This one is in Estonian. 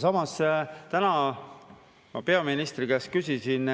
Samas täna ma peaministri käest küsisin,